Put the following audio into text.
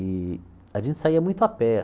E a gente saía muito a pé.